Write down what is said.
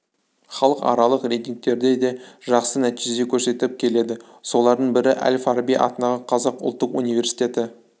халықаралық рейтингтерде де жақсы нәтиже көрсетіп келеді солардың бірі әл фараби атындағы қазақ ұлттық университеті